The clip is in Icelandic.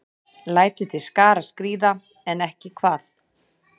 Lætur til skarar skríða, en ekki hvað?